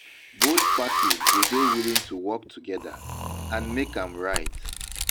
Both parties go dey willing to work together and make am right.